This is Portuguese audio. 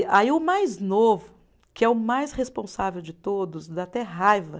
E aí o mais novo, que é o mais responsável de todos, dá até raiva.